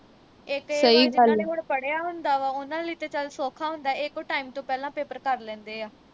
ਏ ਤੇ ਜਿਹਨਾ ਨੇ ਹੁਣ ਪੜਿਆ ਹੁੰਦਾ ਵਾ ਉਨ੍ਹਾਂ ਲਈ ਤੇ ਚੱਲ ਸੌਖਾ ਹੁੰਦਾ ਇਕ ਉਹ time ਤੋਂ ਪਹਿਲਾਂ ਕਰ ਲੈਂਦੇ ਆ